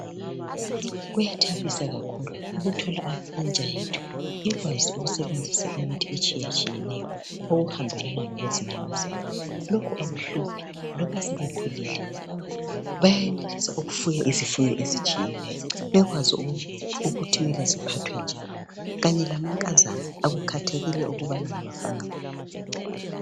Kuyathabisa kakhulu ukuthola intsha yethu ikwazi ukusebenzisa imithi etshiyatshiyeneyo okuhambelana lokwezinyamazana. Lokhu akuhluphi loba sebekhulile bayenelisa ukufuya izifuyo ezitshiyatshiyeneyo bekwazi ukuthi kumele ziphathwe njani kanye lamankazana akukhethelekile ukubana ngabafana bodwa.